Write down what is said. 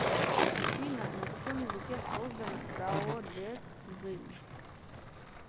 афина на каком языке создано даодэцзин